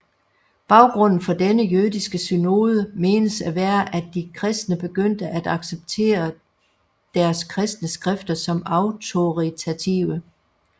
Baggrunden for denne jødiske synode menes at være at de kristne begyndte at accepteret deres kristne skrifter som autoritative